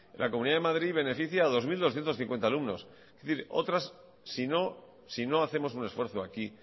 la comunidad de madrid beneficia a dos mil doscientos cincuenta alumnos es decir si no hacemos un esfuerzo aquí